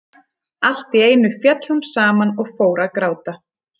En allt í einu féll hún saman og fór að gráta.